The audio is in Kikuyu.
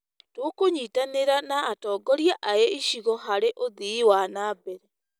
Tũkũnyitanĩra na atongoria a icigo harĩ ũthii wa na mbere.